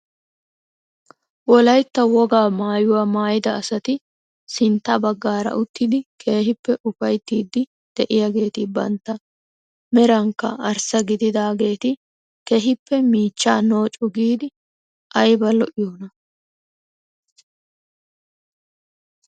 Wolaytta wogaa mayuwaa maayida asati sintta baggaara uttidi keehippe ufayttiidi de'iyaageti bantta merankka arssa gidaageti keehippe miichchaa noocu giidi ayba lo'iyoona!